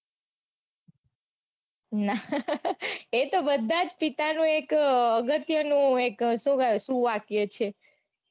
એતો બધા જ પિતાનો એક અગત્યનો એક સુવાક્ય છે.